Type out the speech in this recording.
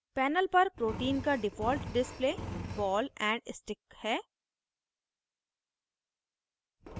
panel पर protein का default display ball and stick है